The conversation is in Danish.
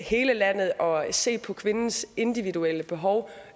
hele landet og se på kvindernes individuelle behov